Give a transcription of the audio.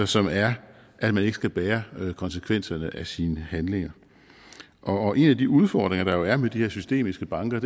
som er at man ikke skal bære konsekvenserne af sine handlinger og en af de udfordringer der jo er med de her systematiske banker